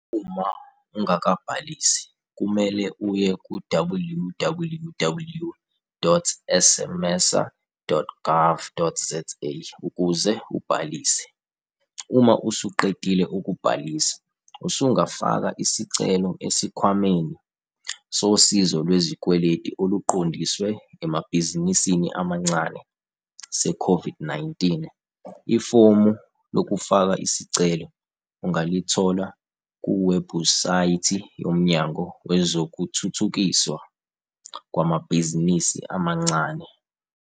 Uma ungakabhalisi, kumele uye ku-www.smmesa.gov.za ukuze ubhalise. Uma usuqedile ukubhalisa, usungafaka isicelo Esikhwameni Sosizo Lwe zikweletu oluqondiswe emabhizinisini amancane seCOVID-19. Ifomu lokufaka isicelo ungalithola kuwebhusaythi yoMnyango Wezokuthuthukiswa Kwamabhizinisi Amancane.